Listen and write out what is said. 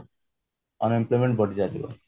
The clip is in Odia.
unemployment ବଢି ଚାଲିବ